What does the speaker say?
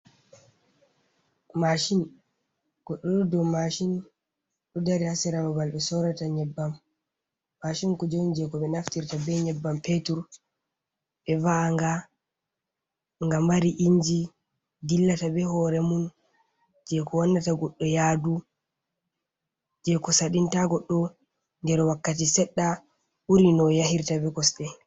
Mashin. Goɗɗo ɗo dow mashin ɗo dari ha sera babal ɓe sorata nyebbam. Mashin kuje on je ko ɓe naftirta be nyebbam petur ɓe va'a nga, nga mari inji dillata be hore mun je ko wannata goɗɗo yadu, je ko saɗinta goɗɗo nder wakkati seɗɗa ɓuri no o yahirta be kosɗe.